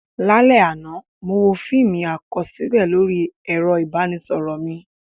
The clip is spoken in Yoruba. Lálẹ́ àná, mo wo fíìmù àkọsílẹ̀ lórí ẹ̀rọ ìbánisọ̀rọ̀ mi.